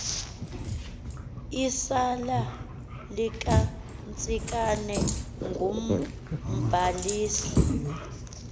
isali likantsikana ngumbalisi